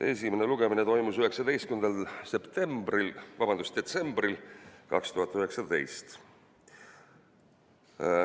Esimene lugemine toimus 19. detsembril 2019.